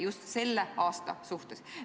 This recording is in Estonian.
Just selle aasta suhtes.